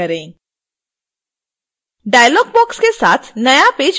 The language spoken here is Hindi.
डायलॉग बॉक्स के साथ नया पेज प्रदर्शित होता है